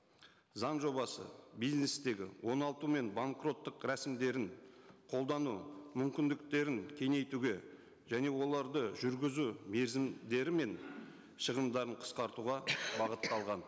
заң жобасы бизнестегі оңалту мен банкроттық рәсімдерін қолдану мүмкіндіктерін кеңейтуге және оларды жүргізу мерзімдері мен шығымдарын қысқартуға бағытталған